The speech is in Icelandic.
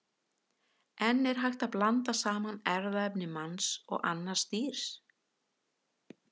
En er hægt að blanda saman erfðaefni manns og annars dýrs?